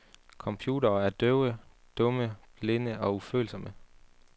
Computere er døve, dumme, blinde og ufølsomme.